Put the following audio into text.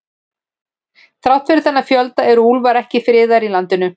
Þrátt fyrir þennan fjölda eru úlfar ekki friðaðir í landinu.